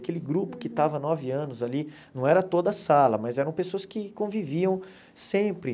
Aquele grupo que estava nove anos ali, não era toda sala, mas eram pessoas que conviviam sempre.